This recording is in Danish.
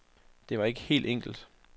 Det var ikke helt enkelt.